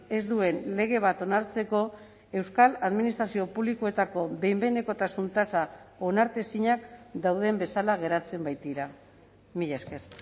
ez duen lege bat onartzeko euskal administrazio publikoetako behin behinekotasun tasa onartezinak dauden bezala geratzen baitira mila esker